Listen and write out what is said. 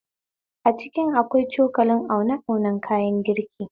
A kicin akwai cokulan aune aunen kayan girki